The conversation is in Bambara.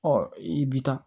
Ɔ i bi taa